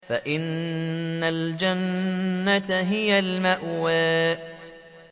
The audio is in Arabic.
فَإِنَّ الْجَنَّةَ هِيَ الْمَأْوَىٰ